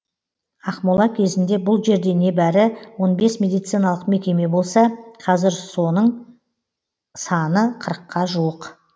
ақмола кезінде бұл жерде небәрі он бес медициналық мекеме болса қазір соның саны қырықа жуық